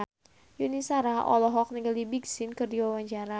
Yuni Shara olohok ningali Big Sean keur diwawancara